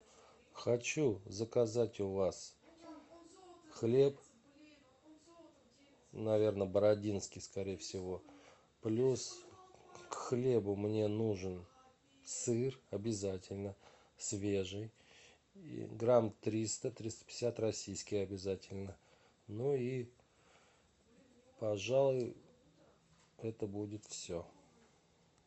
хочу заказать у вас хлеб наверное бородинский скорее всего плюс к хлебу мне нужен сыр обязательно свежий грамм триста триста пятьдесят российский обязательно ну и пожалуй это будет все